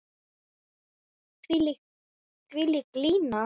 Þvílík lína.